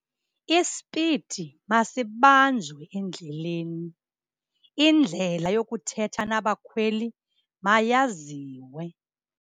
Ispidi masibanjwe endleleni, indlela yokuthetha nabakhweli mayaziwe.